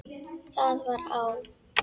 Það var á